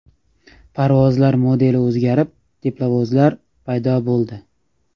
Parovozlar modeli o‘zgarib, teplovozlar paydo bo‘ldi.